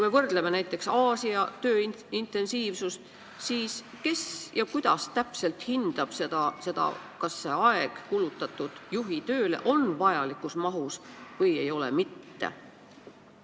Aga võrdleme näiteks Aasia tööintensiivsusega – kes ja kuidas täpselt hindab seda, kas juhitööle kulutatud aeg on vajalikus mahus või ei ole mitte?